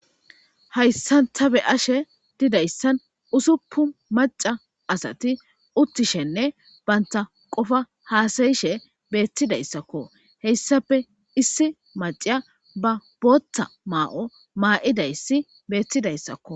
Haysan ta be'ashe dizaysan usupun mac'a asati utishenne banta qofa hasa'ishe betidaysakko haysape issi mac'iya ba botha ma'o ma'idayis betidaysakko.